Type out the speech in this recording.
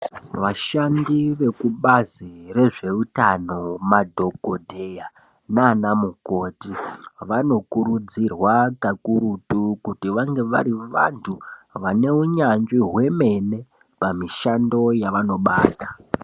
Vashandi vekubazi rezveutano madhokodheya naanamukoti vanokurudzirwa kakurutu kuti vange vari vantu vaneunyanzvi hwemene pamishando yavanobata.